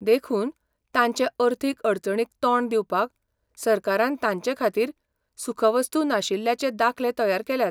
देखून, तांचे अर्थीक अडचणीक तोंड दिवपाक, सरकारान तांचे खातीर सुखवस्तू नाशिल्ल्याचे दाखले तयार केल्यात.